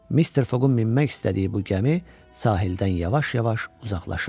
Mister Foqun minmək istədiyi bu gəmi sahildən yavaş-yavaş uzaqlaşırdı.